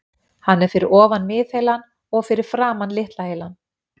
Hann er fyrir ofan miðheilann og fyrir framan litla heilann.